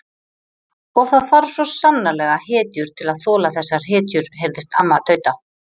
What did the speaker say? Og það þarf svo sannarlega hetjur til að þola þessar hetjur heyrðist amman tauta.